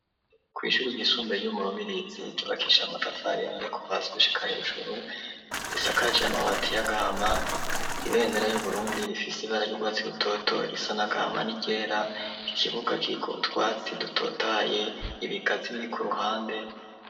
Kw'ishure ryisumbuye ryo mu Rubirizi, ryubakishije amatafari ahiye kuva hasi gushika hejuru, risakaje amabati y'agahama, ibendera y'Uburundi rifise ibara ry'urwatsi rutoto, irisa n'agahama n'iryera, ikibuga kiriko utwatsi dutotaye, ibigazi biri ku ruhande.